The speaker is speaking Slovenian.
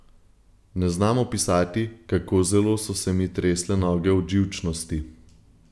Ne znam opisati, kako zelo so se mi tresle noge od živčnosti.